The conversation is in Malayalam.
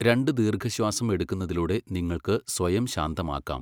രണ്ട് ദീർഘശ്വാസം എടുക്കുന്നതിലൂടെ നിങ്ങൾക്ക് സ്വയം ശാന്തമാക്കാം.